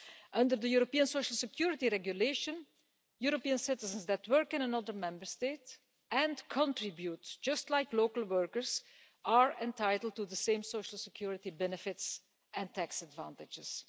Under the European Social Security Regulation, European citizens that work in another Member State and contribute just like local workers are entitled to the same social security benefits and tax advantages.